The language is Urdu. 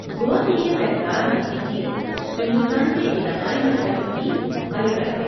گوا کی یہ تہہ دار میٹھی چیز ہندوستان کی علاقائی مٹھائیوں کی ملکہ ہے۔